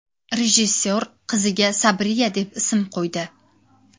Rejissor qiziga Sabriya deb ism qo‘ydi.